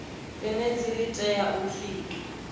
zhenedzi li tea u sikwa